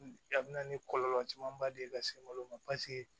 A bɛ na ni kɔlɔlɔ camanba de ye ka se malo ma